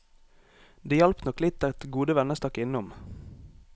Det hjalp nok litt at gode venner stakk innom.